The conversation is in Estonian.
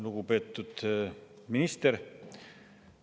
Lugupeetud minister!